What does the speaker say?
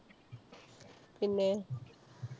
പിന്നെ?